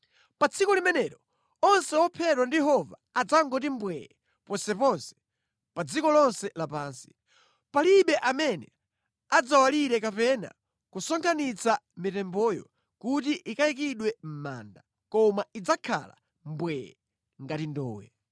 Pa tsiku limenelo, onse ophedwa ndi Yehova adzangoti mbwee ponseponse, pa dziko lonse lapansi. Palibe amene adzawalire kapena kusonkhanitsa mitemboyo kuti ikayikidwe mʼmanda, koma idzakhala mbwee ngati ndowe.